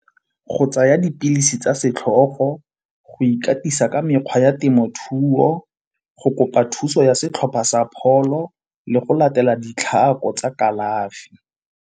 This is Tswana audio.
Go tsaya dipilisi tsa setlhogo, go ikatisa ka mekgwa ya temothuo, go kopa thuso ya setlhopha sa pholo le go latela ditlhako tsa kalafi.